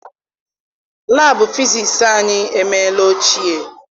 Laabụ fisiisi anyị emeela ochie.